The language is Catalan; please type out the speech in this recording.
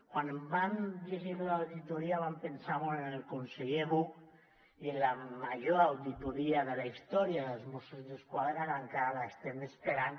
quan vam llegir lo de l’auditoria vam pensar molt en el conseller buch i en la major auditoria de la història dels mossos d’esquadra que encara l’estem esperant